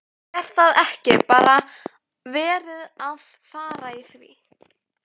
Er það ekki bara verið að fara í því?